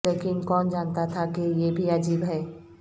لیکن کون جانتا تھا کہ یہ بھی عجیب ہے